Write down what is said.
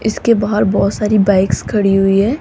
इसके बाहर बहोत सारी बाइक्स खड़ी हुईं हैं।